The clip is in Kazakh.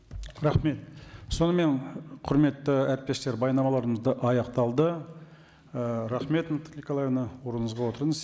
рахмет сонымен құрметті әріптестер баяндамаларымыз аяқталды ы рахмет наталья николаевна орныңызға отырыңыз